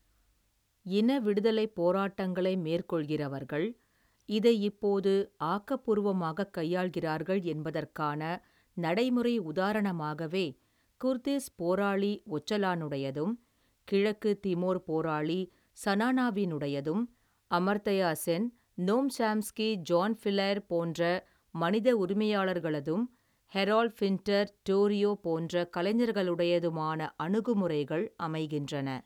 இனவிடுதலைப் போராட்டங்களை மேற்கொள்கிறவர்கள், இதை இப்போது, ஆக்கபூர்வமாகக் கையாள்கிறார்கள், என்பதற்கான நடைமுறை உதாரணமாகவே, குர்திஸ் போராளி, ஒச்சலானுடையதும், கிழக்கு திமோர் போராளி, ஸனானாவினுடையதும், Amartya Sen, Noam Chomsky, John Pilger போன்ற மனித உரிமையாளர்களதும், ஹெரால்ட் பின்ட்டர், டோரியோ போன்ற, கலைஞர்களுடையதுமான, அணுகுமுறைகள் அமைகின்றன.